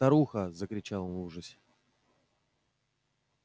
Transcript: старуха закричал он в ужасе